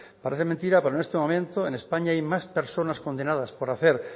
parece mentira pero en este momento en españa hay más personas condenadas por hacer